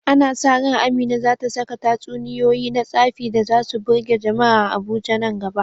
Ana sa ran Amina za ta saka tatsuniyoyi na tsafi da za su birge jama’a a Abuja nan gaba.